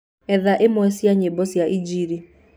ethaĩmwe cĩa nyĩmbo cĩaĩnjĩlĩ